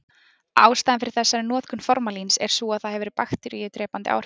Ástæðan fyrir þessari notkun formalíns er sú að það hefur bakteríudrepandi áhrif.